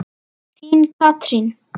Þín, Katrín.